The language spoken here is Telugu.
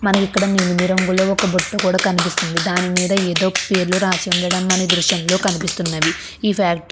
మనకిక్కడ నేను మీ రంగులో ఒక బొట్టు కూడా కనిపిస్తుంది. దానిమీద ఏదో పేర్లు రాచి ఉండడం అని దృశంలో కనిపిస్తున్నవి ఈ ఫాక్ట్ --